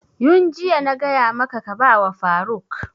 Yun jiya na gaya maka ka ba wa faruk!